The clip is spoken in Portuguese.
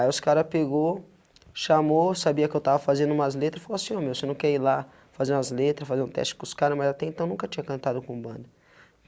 Aí os caras pegou, chamou, sabia que eu estava fazendo umas letras e falou assim, o meu, se não quer ir lá, fazer umas letras, fazer um teste com os caras, mas até então nunca tinha cantado com banda.